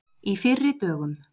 Í fyrri dögum.